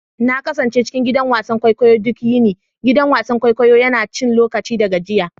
Na kasance cikin gidan wasan kwaikwayo duk yini, gidan wasan kwaikwayo yana cin lokaci da gajiya.